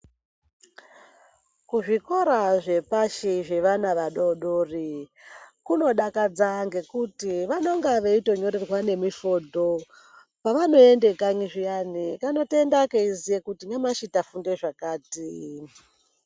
Kuzvikora zvepashi zvevana vadoodori, kunodakadza ngekuti, vanenga veitonyorerwa nemifodho. Pevanoenda kanyi zviyani kanotoenda keiziya kuti nyamashi tafunda zvakati.